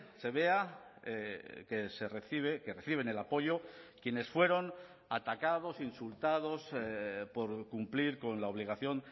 se vea que se recibe que reciben el apoyo quienes fueron atacados insultados por cumplir con la obligación